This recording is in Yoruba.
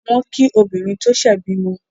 Wọ́n kí obìnrin tó ṣẹ̀ bímọ.